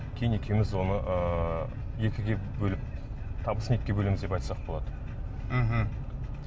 кейін екеуміз оны ыыы екіге бөліп табысын екіге бөлеміз деп айтсақ болады мхм